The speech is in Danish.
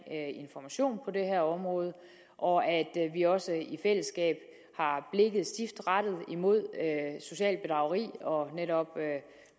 information på det her område og at vi også i fællesskab har blikket stift rettet mod socialt bedrageri og netop